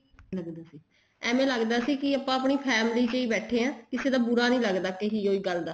ਲੱਗਦਾ ਸੀ ਏਵੇਂ ਲੱਗਦਾ ਸੀ ਆਪਾਂ ਆਪਣੀ family ਚ ਹੀ ਬੈਠੇ ਹਾਂ ਕਿਸੇ ਦਾ ਬੁਰਾ ਨੀ ਲੱਗਦਾ ਕਹਿ ਹੋਈ ਗੱਲ ਦਾ